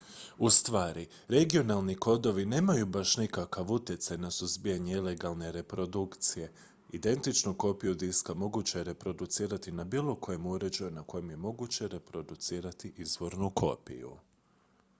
ustvari regionalni kodovi nemaju baš nikakav utjecaj na suzbijanje ilegalne reprodukcije identičnu kopiju diska moguće je reproducirati na bilo kojem uređaju na kojem je moguće reproducirati izvornu kopiju